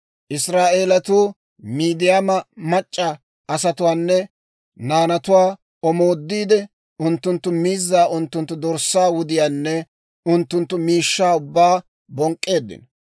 Israa'eelatuu Midiyaama mac'c'a asatuwaanne naanatuwaa omoodiide, unttunttu miizzaa, unttunttu dorssaa wudiyaanne unttunttu miishshaa ubbaa bonk'k'eeddino.